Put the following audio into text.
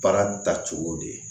Baara taacogo de ye